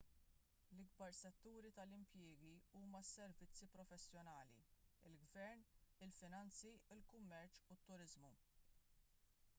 l-ikbar setturi tal-impjiegi huma s-servizzi professjonali il-gvern il-finanzi il-kummerċ u t-turiżmu